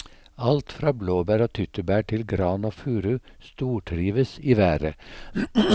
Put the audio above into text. Alt fra blåbær og tyttebær til gran og furu stortrives i været.